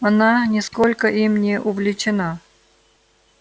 она нисколько им не увлечена